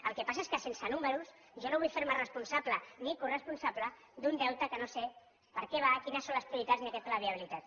el que passa és que sense números jo no vull fer me responsable ni coresponsable d’un deute que no sé per a què va quines són les probabilitats ni aquest pla de viabilitat